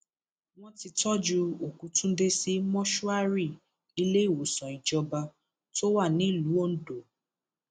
wọn ti tọjú òkú túnde sí mọṣúárì iléìwòsàn ìjọba tó wà nílùú ondo